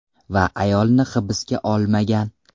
Va ayolni hibsga olmagan.